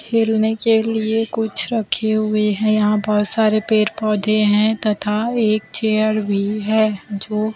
खेलने के लिए कुछ रखे हुए हैं यहां बहोत सारे पेड़ पौधे हैं तथा एक चेयर भी है जो--